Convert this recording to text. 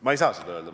Ma ei saa seda öelda.